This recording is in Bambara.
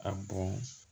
A bɔn